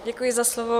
Děkuji za slovo.